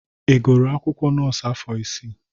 Ị gụrụ akwụkwọ nọọsụ afọ isii?